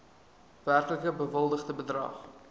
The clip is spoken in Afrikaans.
werklik bewilligde bedrag